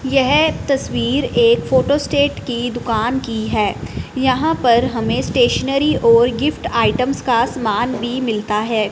यह तस्वीर एक फोटो स्टेट की दुकान की है यहां पर हमें स्टेशनरी और गिफ्ट आइटम्स का सामान भी मिलता है।